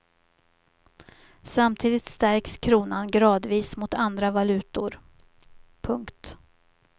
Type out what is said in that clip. Samtidigt stärks kronan gradvis mot andra valutor. punkt